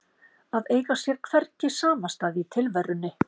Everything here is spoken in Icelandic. Að eiga sér hvergi samastað í tilverunni